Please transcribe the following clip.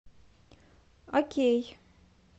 окей